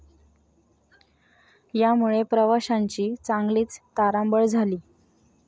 यामुळे प्रवाशांची चांगलीच तारांबळ झाली.